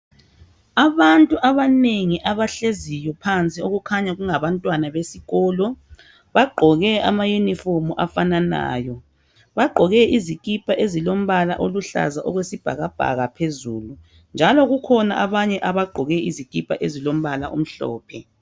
Abantu abanengi abahleziyo phansi okukhanya kungabantwana besikolo bagqoke ama yunifomu afananayo. Bagqoke izikipa ezilombala oluhlaza okwesibhakabhaka phezulu njalo kukhona abanye abagqoke izikipa ezilombala omhlophe.